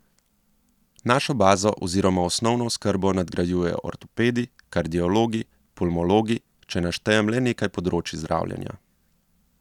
Našo bazo oziroma osnovno oskrbo nadgrajujejo ortopedi, kardiologi, pulmologi, če naštejem le nekaj področij zdravljenja.